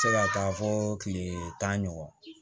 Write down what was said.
Se ka taa fɔ kile tan ɲɔgɔn kɔ